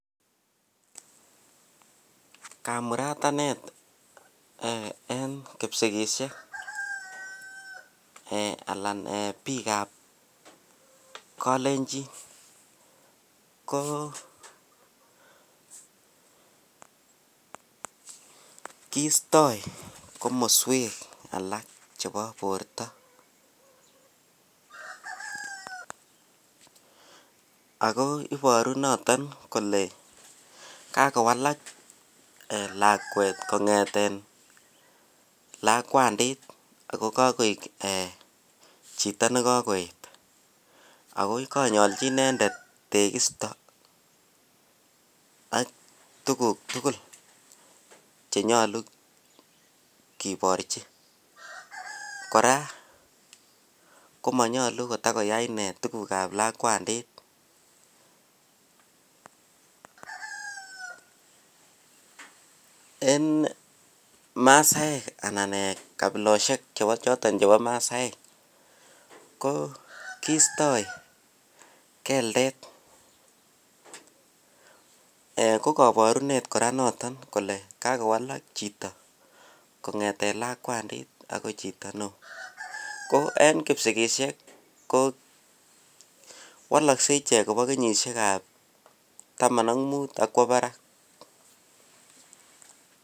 Kamuratanet en kipsikishek alaan biikab kolenchin ko kistoi komosweek alak chebo borto, ak ko iboru noton kolee kakowalak lakwet kongeten lakwandit ak ko kakoik chito nekokoyet ak konyolchi inendet tekisto ak tukuk tukul chenyolu kiborchi. Kora komonyolu kotakoyai inee tukukab lakwandit, en masaek anan kabiloshek chebo choton chebo masaek ko kistoi keldet eeh kokoborunet kora noton kolee kakowalak chito kongeten lakwandit akoi chito neoo, ko en kipsikishek kowolokse ichek kobo kenyishekab taman ak muut ak kwoo barak.